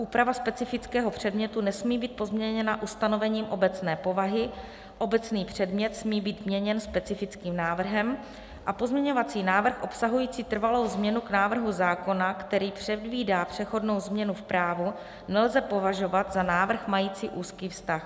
Úprava specifického předmětu nesmí být pozměněna ustanovením obecné povahy, obecný předmět smí být měněn specifickým návrhem a pozměňovací návrh obsahující trvalou změnu k návrhu zákona, který předvídá přechodnou změnu v právu, nelze považovat za návrh mající úzký vztah.